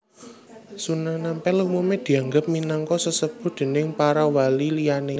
Sunan Ampel umume dianggep minangka sesepuh déning para wali liyane